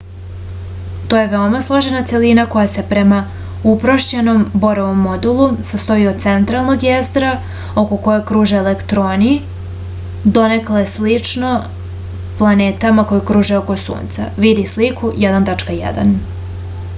to je veoma složena celina koja se prema uprošćenom borovom modelu sastoji od centralnog jezgra oko koga kruže elektroni donekle slično planetama koje kruže oko sunca vidi sliku 1.1